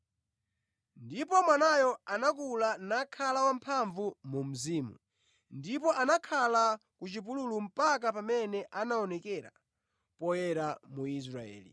Ndipo mwanayo anakula nakhala wamphamvu mu mzimu; ndipo anakhala ku chipululu mpaka pamene anaonekera poyera mu Israeli.